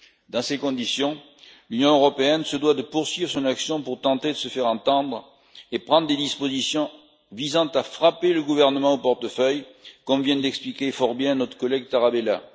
Dans ces conditions, l'Union européenne se doit de poursuivre son action pour tenter de se faire entendre et de prendre des dispositions visant à frapper le gouvernement au portefeuille, comme vient de l'expliquer fort bien notre collègue Marc Tarabella.